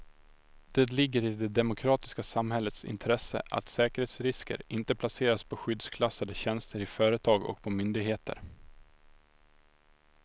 Det ligger i det demokratiska samhällets intresse att säkerhetsrisker inte placeras på skyddsklassade tjänster i företag och på myndigheter.